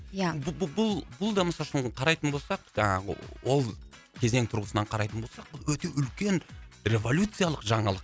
ия бұл бұл да мысалы үшін қарайтын болсақ жаңағы ол кезең тұрғысынан қарайтын болсақ өте үлкен революциялық жаналық